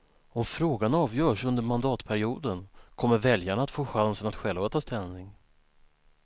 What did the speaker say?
Om frågan avgörs under mandatperioden kommer väljarna att få chansen att själva ta ställning.